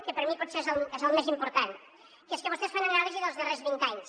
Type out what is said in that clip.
que per mi potser és el més important que és que vostès fan anàlisi dels darrers vint anys